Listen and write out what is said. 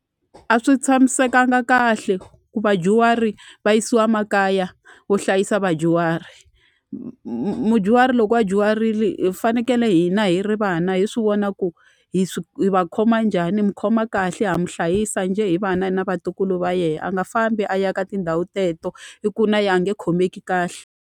A swi tshamisekanga kahle ku vadyuhari va yisiwa makaya wo hlayisa vadyuhari mudyuhari loko a dyuharili hi fanekele hina hi ri vana hi swi vona ku hi swi hi va khoma njhani hi mu khoma kahle ha mi hlayisa njhe hi vana na vatukulu va yena a nga fambi a ya ka tindhawu teto i ku na yena a nge khomeki kahle.